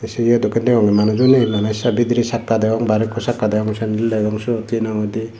say eya dokkin degongge manujo naye mane say bidiri sakka degong bare ekku sakka degong hinamhoi di.